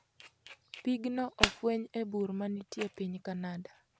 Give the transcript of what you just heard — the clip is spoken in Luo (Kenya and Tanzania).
Piigno ofweny e bur ma nitie e piny Canada.